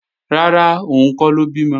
Rárá, òun kọ́ ló bímọ